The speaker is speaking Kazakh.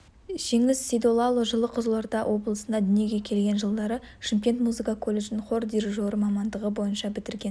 жеңіс сейдоллаұлы жылы қызылорда облысында дүниеге келген жылдары шымкент музыка колледжін хор дирижері мамандығы бойынша бітірген